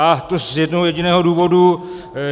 A to z jednoho jediného důvodu.